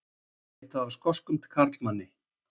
Leitað að skoskum karlmanni